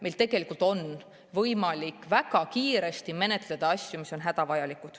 Meil tegelikult on võimalik asju väga kiiresti menetleda, kui see on hädavajalik.